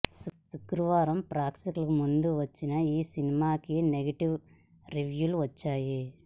శుక్రవారం ప్రేక్షకుల ముందుకు వచ్చిన ఈ సినిమాకి నెగిటివ్ రివ్యూలు వచ్చాయి